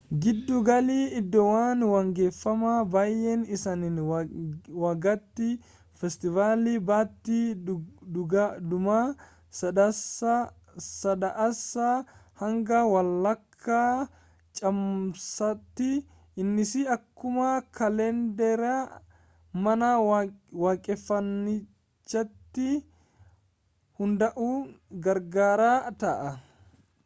giddu galli iddoowwan waaqeffanna baay'een isaanii waggaatti feestivaali baatii dhuma sadaasaa hanga walakkaa caamsaatti innis akkuma kaalendera mana waaqeffannichaatti hundaa'uun garaagara ta'a